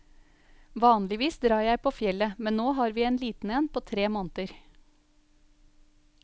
Vanligvis drar jeg på fjellet, men nå har vi en liten en på tre måneder.